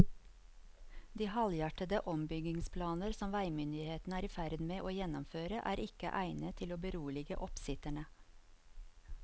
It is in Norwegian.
De halvhjertede ombyggingsplaner som veimyndighetene er i ferd med å gjennomføre er ikke egnet til å berolige oppsitterne.